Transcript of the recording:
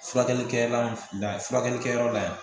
Furakɛlikɛla la furakɛlikɛyɔrɔ la yan